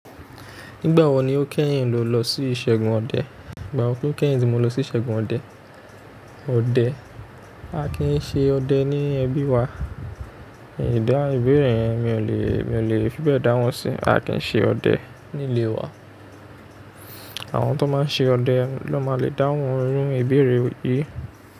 Nígbà wo ni o kẹ́yìn lò lọ sí ìṣẹ́gun ọdẹ? Nígbà wo ti o kẹ́yìn ti mo lọ sí ìṣẹ́gun ọdẹ? Ọdẹ, a kì í ṣe ọdẹ ní ẹbí wa. Ìdáhun ìbẹ̀rẹ̀ yen mi ò lè, mi ò lè fi bẹ́ẹ̀ dáhun sí. A kì í ṣe ọdẹ nílé wa. Àwọn tó máa n ṣe ọdẹ ló máa le dáhùn irú ìbẹ̀rẹ̀ yìí.